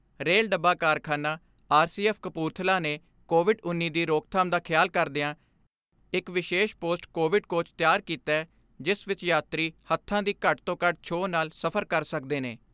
Rail ਡੱਬਾ ਕਾਰਖਾਨਾ ਯਾਨੀ ਆਰ ਸੀ ਐਫ਼ ਕਪੂਰਥਲਾ ਨੇ ਕੋਵਿਡ ਉੱਨੀ ਦੀ ਰੋਕਥਾਮ ਦਾ ਖਿਆਲ ਕਰਦਿਆਂ ਇਕ ਵਿਸ਼ੇਸ਼ ਪੋਸਟ ਕੋਵਿਡ ਕੋਚ ਤਿਆਰ ਕੀਤੈ ਜਿਸ ਵਿਚ ਯਾਤਰੀ ਹੱਥਾਂ ਦੀ ਘੱਟ ਤੋਂ ਘੱਟ ਛੋਹ ਨਾਲ ਸਫਰ ਕਰ ਸਕਦੇ ਨੇ।